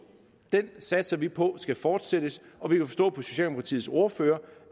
satser vi på skal fortsætte og vi kan forstå på socialdemokratiets ordfører